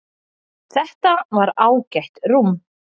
Þetta var ágætt rúm.